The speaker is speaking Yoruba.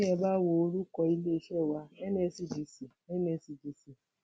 bí ẹ bá wo orúkọ iléeṣẹ wa nscdc nscdc